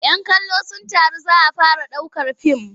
"Yan kallo sun taru za a fara ɗaukar fim.